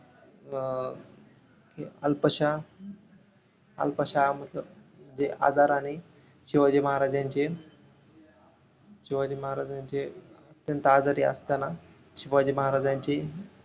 अं हे अल्पशा अल्पशा आजाराने शिवाजी महाराज यांचे शिवाजी महाराज यांचे त्यांचा आजारी असताना शिवाजी महाराज यांचे